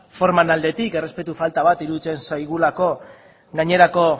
formaren aldetik errespetu falta bat iruditzen zaigulako gainerako